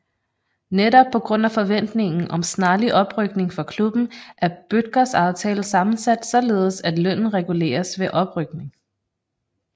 Netop på grund af forventningen om snarlig oprykning for klubben er Bødkers aftale sammensat således at lønnen reguleres ved oprykning